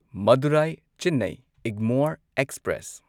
Madurai Chennai Egmore express